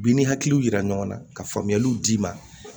I ni hakiliw yira ɲɔgɔnna ka faamuyaliw d'i ma